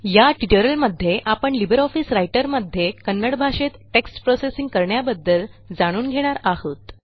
या ट्युटोरियलमध्ये आपण लिबर ऑफिस रायटर मध्ये कन्नड भाषेत टेक्स्ट प्रोसेसिंग करण्याबद्दल जाणून घेणार आहोत